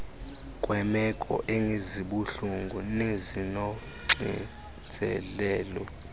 kweemeko ezibuhlungu nezinoxinzelelo